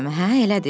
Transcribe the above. elədi?